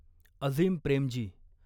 Azeem Premji